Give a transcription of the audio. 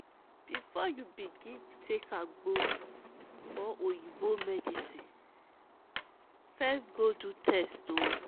bifor yu begin take agbo or oyibo medicine first go do test o